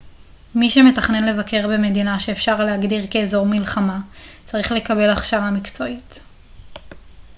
מי שמתכנן לבקר במדינה שאפשר להגדיר כאזור מלחמה צריך לקבל הכשרה מקצועית